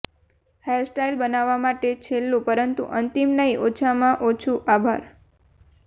hairstyle માટે છેલ્લું પરંતુ અંતિમ નહી ઓછામાં ઓછું આભાર